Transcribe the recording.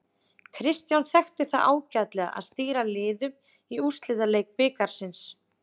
Kristján þekki það ágætlega að stýra liðum í úrslitaleik bikarsins.